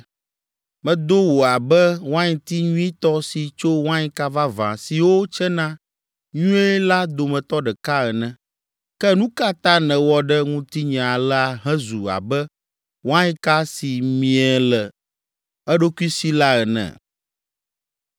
Medo wò abe wainti nyuitɔ si tso wainka vavã siwo tsena nyuie la dometɔ ɖeka ene. Ke nu ka ta nèwɔ ɖe ŋutinye alea hezu abe wainka si mie le eɖokui si la ene?